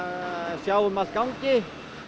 sjá um að gangi